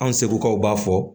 An segukaw b'a fɔ